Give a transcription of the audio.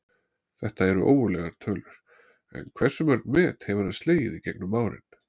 Þetta eru ógurlegar tölur, en hversu mörg met hefur hann slegið í gegnum árin?